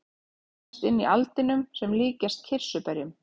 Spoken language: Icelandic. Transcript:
Þær finnast inni í aldinum sem líkjast kirsuberjum.